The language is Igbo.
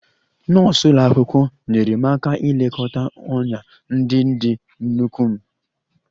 Nọọsụ ụlọ akwụkwọ nyeere m aka ilekọta ọnyá ndị dị n'ụkwụ m